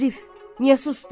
Arif, niyə susdun?